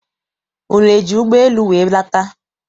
Unu eji ụgbọ elu wee lata?